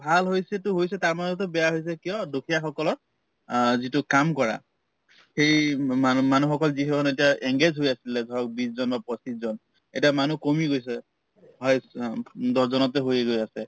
ভাল হৈছেতো হৈছে তাৰমাজতে বেয়া হৈছে কিয় দুখীয়াসকলৰ অ যিটো কাম কৰা এই উম মানুহ‍‍ মানুহকসকল যিসকল এতিয়া engaged হৈ আছিলে ধৰক বিশজন বা পঁচিশ জন এতিয়া মানুহ কমি গৈছে highest অ দহজনতে হৈয়ে গৈ আছে